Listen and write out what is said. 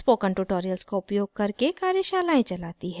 spoken tutorials का उपयोग करके कार्यशालाएं चलाती है